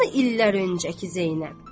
Hanı illər öncəki Zeynəb?